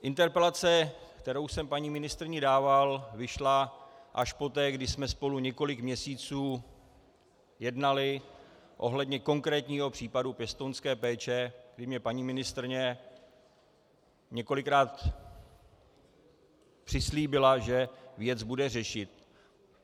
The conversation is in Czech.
Interpelace, kterou jsem paní ministryni dával, vyšla až poté, kdy jsme spolu několik měsíců jednali ohledně konkrétního případu pěstounské péče, kdy mně paní ministryně několikrát přislíbila, že věc bude řešit.